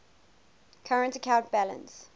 current account balance